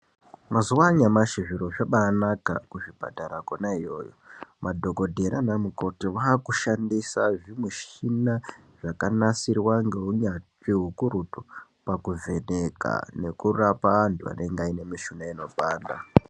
Mazuva anyamashi zviro zvabaanaka kuzvipatara kona iyoyo. Madhokodhera nanamukoti vaakushandisaa zvimushina zvakanasirwaa neunyanzvi hukurutu pakuvheneka nekurapa antu vanenga vaine mushuna unopanda.